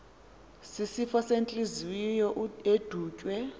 sisifo sentliziyo edutywe